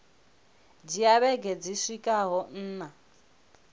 dzhia vhege dzi swikaho nṋa